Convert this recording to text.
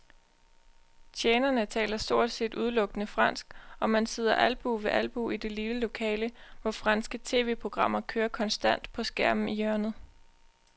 Tjenerne taler stort set udelukkende fransk, og man sidder albue ved albue i det lille lokale, hvor franske tv-programmer kører konstant på skærmen i hjørnet.